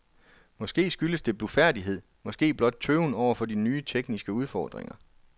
Måske skyldes det blufærdighed, måske blot tøven over for nye, tekniske udfordringer.